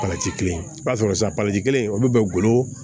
Parasi kelen i b'a sɔrɔ sisan kelen olu bɛ golo